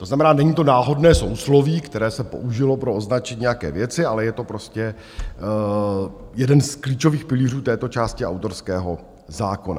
To znamená, není to náhodné sousloví, které se použilo pro označení nějaké věci, ale je to prostě jeden z klíčových pilířů této části autorského zákona.